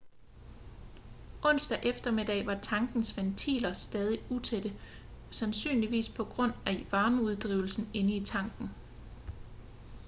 onsdag eftermiddag var tankens ventiler stadig utætte sandsynligvis på grund af varmeudvidelsen inde i tanken